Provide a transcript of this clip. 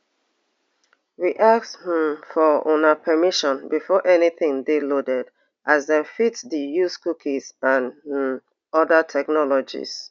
we ask um for una permission before anytin dey loaded as dem fit dey use cookies and um oda technologies